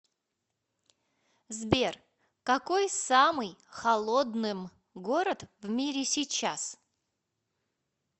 сбер какой самый холодным город в мире сейчас